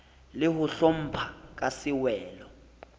le ho hlompha ka sewelo